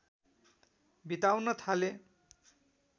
बिताउन थाले